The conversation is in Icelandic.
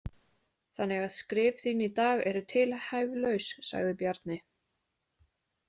Þannig að skrif þín í dag eru tilhæfulaus, sagði Bjarni.